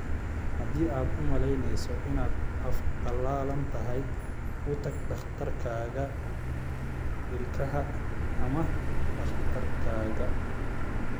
Haddii aad u malaynayso inaad af qalalan tahay, u tag dhakhtarkaaga ilkaha ama dhakhtarkaaga.